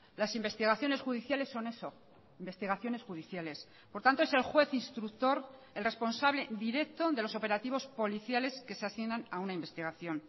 las investigaciones judiciales son eso investigaciones judiciales por tanto es el juez instructor el responsable directo de los operativos policiales que se asignan a una investigación